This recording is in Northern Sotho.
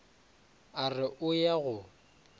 a re o ya go